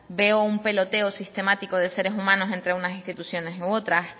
veo un peloteo sistemático de seres humanos entre unas instituciones u otras